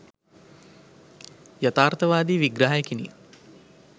යථාර්ථවාදි විග්‍රහයකිනි.